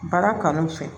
Baara kanu fɛ